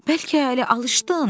Bəlkə elə alışdın.